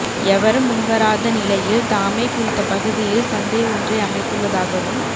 எவரும் முன்வராத நிலையில் தாமே குறித்த பகுதியில் சந்தை ஒன்றை அமைத்துள்ளதாகவும்